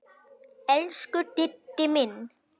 Elsku Diddi minn.